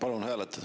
Palun hääletada.